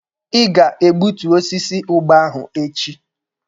Ị ga-egbutu osisi ụgba ahụ echi!